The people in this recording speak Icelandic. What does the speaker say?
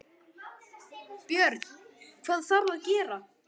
Björn: Hvað þarf að gera?